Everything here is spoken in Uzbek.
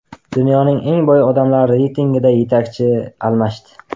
Dunyoning eng boy odamlari reytingida yetakchi almashdi.